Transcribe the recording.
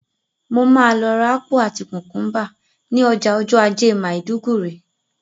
Mo ma lọ rà ápù àti kùkúmbà ni ọjà ọjọ́ ajé Maiduguri